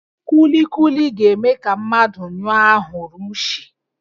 Kulikuli ga-eme ka mmadụ nyụọ ahụrụ ushi